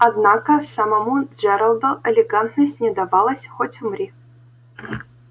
однако самому джералду элегантность не давалась хоть умри